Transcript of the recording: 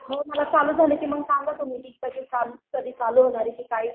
हो मला चालू झालं की सांगा तुम्ही कधी चालू होणार आहे काय?